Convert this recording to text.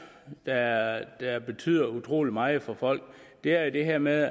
der betyder utrolig meget for folk er er det her med